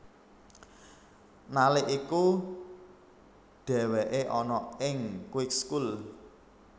Nalik iku dheweke ana ing Kweekschool